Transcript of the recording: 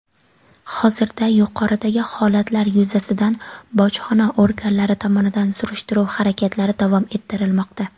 Hozirda yuqoridagi holatlar yuzasidan bojxona organlari tomonidan surishtiruv harakatlari davom ettirilmoqda.